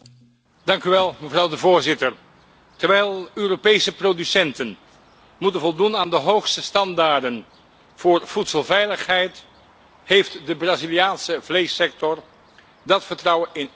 Terwijl Europese producenten moeten voldoen aan de hoogste standaarden voor voedselveiligheid, heeft de Braziliaanse vleessector dat vertrouwen in één klap beschadigd.